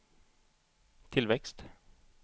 tillväxt